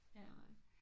Nej